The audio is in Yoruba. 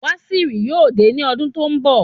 Waziri yóò dé ní ọdún tó n bọ